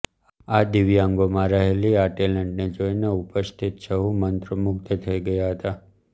આ દિવ્યગોમાં રહેલી આ ટેલેન્ટ જોઈને ઉપસ્થિત સહું મંત્રમુગ્ઘ થઈ ગયા હતા